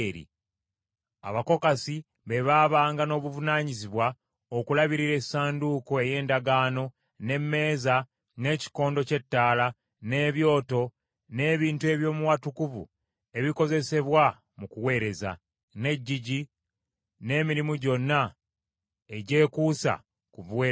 Abakokasi be baabanga n’obuvunaanyizibwa okulabirira Essanduuko ey’Endagaano, n’emmeeza, n’ekikondo ky’ettaala, n’ebyoto, n’ebintu eby’omu watukuvu ebikozesebwa mu kuweereza, n’eggigi; n’emirimu gyonna egyekuusa ku buweereza obwo.